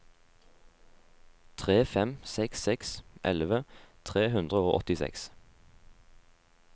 tre fem seks seks elleve tre hundre og åttiseks